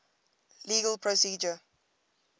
legal procedure